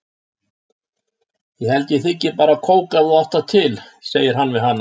Ég held ég þiggi bara kók ef þú átt það til, segir hann við hana.